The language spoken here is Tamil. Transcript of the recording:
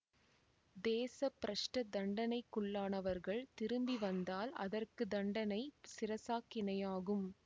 தேச பிரஷ்ட தண்டனைக்குள்ளானவர்கள் திரும்பி வந்தால் அதற்கு தண்டனை சிரசாக்கினையாகும்